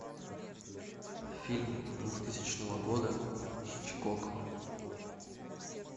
фильм двухтысячного года хичкок